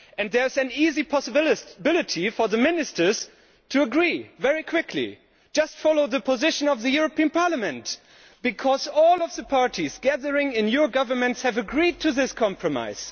There is an easy way for the Ministers to agree very quickly just follow the position of the European Parliament, because all the parties gathered together in your governments have agreed to this compromise.